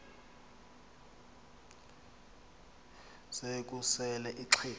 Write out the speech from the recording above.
se kusel ixheg